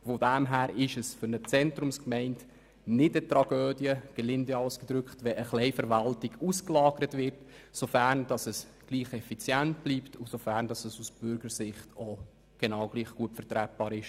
Insofern ist es auch für eine Zentrumsgemeinde keine Tragödie, wenn ein Teil der Verwaltung ausgelagert wird, sofern diese Lösung gleich effizient und aus Bürgersicht gleich gut ist.